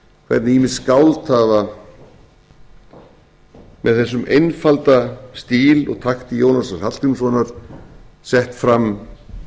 að hvernig ýmis skáld hafa með þessum einfalda stíl og takti jónasar hallgrímssonar sett fram